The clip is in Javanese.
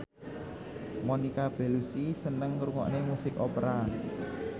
Monica Belluci seneng ngrungokne musik opera